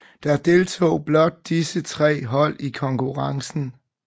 Der deltog blot disse tre hold i konkurrencen